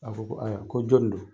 A ko ko aya ko jɔn do?